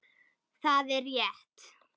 Það er rétt.